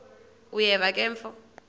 uyeva ke mfo